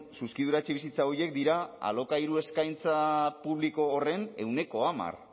zuzkidura etxebizitza horiek dira alokairu eskaintza publiko horren ehuneko hamar